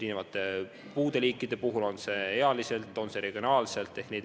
Olgu tegu puude eri liikidega, olgu tegu ealiste või regionaalsete sihtrühmadega.